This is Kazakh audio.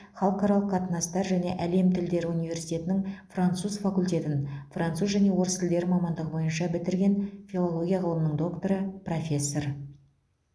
халықаралық қатынастар және әлем тілдері университетінің француз факультетін француз және орыс тілдері мамандығы бойынша бітірген филология ғылымының докторы профессор